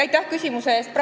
Aitäh küsimuse eest!